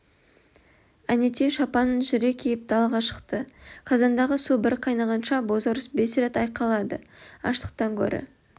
әнетей шапанын жүре киіп далаға шықты қазандағы су бір қайнағанша бозорыс бес рет айқайлады аштықтан гөрі